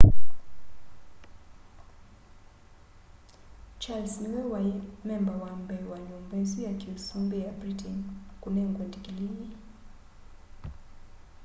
charles niwe wai memba wa mbee wa nyumba isu ya kiusumbi ya britain kunengwa ndikilii